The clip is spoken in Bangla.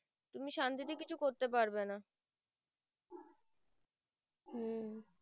উম